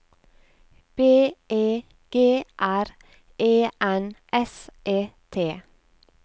B E G R E N S E T